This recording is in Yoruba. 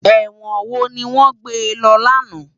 Èwòn wó niwòn gbé lò làná?